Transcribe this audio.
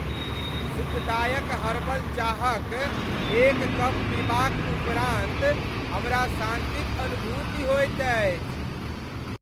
सुखदायक हर्बल चाहक एक कप पीबाक उपरान्त हमरा शान्तिक अनुभूति होएत अछि।